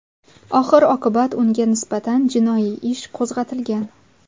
Oxir-oqibat unga nisbatan jinoiy ish qo‘zg‘atilgan.